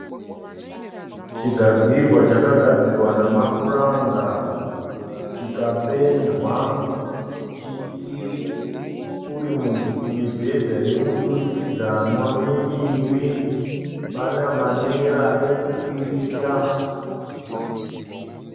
Chagadzirwa chakagadzirwa nemapuranga chikapendwa. Uri mibhedha yemudurikidzwanwa miviri. Pane manera okukwirisa.